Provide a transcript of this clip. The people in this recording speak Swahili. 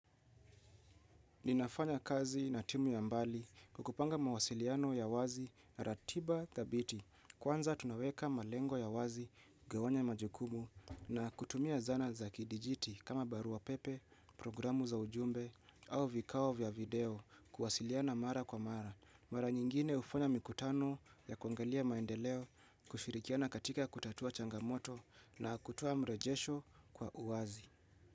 Ninafanya kazi na timu ya mbali kwa kupanga mawasiliano ya wazi na ratiba thabiti kwanza tunaweka malengo ya wazi kugawanya majukumu na kutumia zana za kidijiti kama barua pepe, programu za ujumbe au vikao vya video kuwasiliana mara kwa mara. Mara nyingine hufanya mikutano ya kuangalia maendeleo kushirikiana katika kutatua changamoto na kutoa mrejesho kwa uwazi.